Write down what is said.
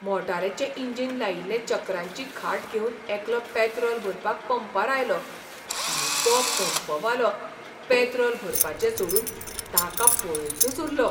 मोटारीचें engine लायिल्ली चक्रांची खाट घेवन एकलो पॅत्रॉल भरपाक पंपार आयलो आनी तो पंपवालो पॅत्रॉल भरपाचें सोडून ताका पळयतच उल्लो.